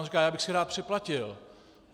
On říká: "Já bych si rád připlatil."